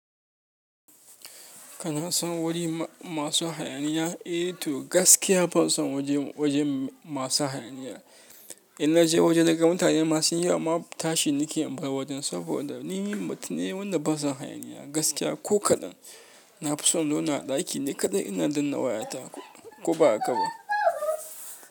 Kana son wuri masu hayaniya? Eh to gaskiya ban son wajen masu hayaniya. Inna je waje naga mutane masunyi yawa ma tashi nake in bar wajen saboda ni mutum ne wanda baison hayaniya gaskiya ko kaɗan. Na fi son zauna a ɗaki ni kaɗai ina danna wayata ko ba a gaba.